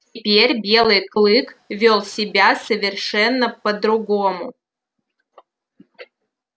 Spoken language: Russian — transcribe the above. теперь белый клык вёл себя совершенно по-другому